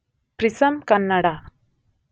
prism Kannada